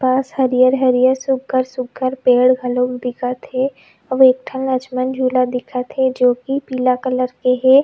पास हरियर हरियर सुगर सुगर पेड़ घलो दिखा थे अउ एक ठन लक्ष्मण झूला दिखत थे जो की पीला कलर के हे।